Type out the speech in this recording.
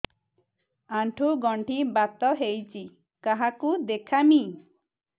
ଆଣ୍ଠୁ ଗଣ୍ଠି ବାତ ହେଇଚି କାହାକୁ ଦେଖାମି